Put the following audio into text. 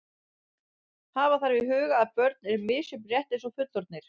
Hafa þarf í huga að börn eru misjöfn rétt eins og fullorðnir.